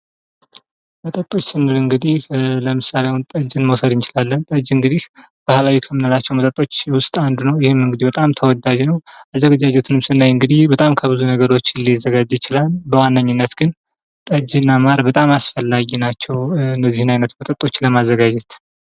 መጠጦች ስንል እንግዲህ ለምሳሌ አሁን ጠጅን መውሰድ እንችላለን ። ጠጅ እንግዲህ ባህላዊ ከምንላቸው መጠጦች ውስጥ አንዱ ነው ። ይህም እንግዲህ በጣም ተወዳጅ ነው ። አዘገጂጀቱን ስናይ እንግዲህ በጣም ከብዙ ነገሮች ሊዘጋጅ ይችላል ። በዋነኝነች ግን ጠጅ እና ማር በጣም አስፈላጊ ናቸው ። እነዚህን አይነት መጠጦች ለማዘጋጀት ።